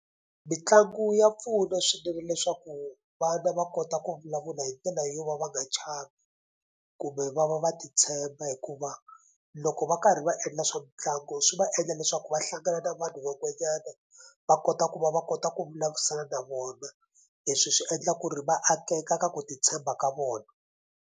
Mitlangu ya pfuna swinene leswaku vana va kota ku vulavula hi ndlela yo va va nga chavi kumbe va va va titshemba hikuva loko va karhi va endla swa mitlangu swi va endla leswaku va hlangana na vanhu van'wanyana va kota ku va va kota ku vulavurisana na vona leswi swi endla ku ri va akeka ka ku titshemba ka vona.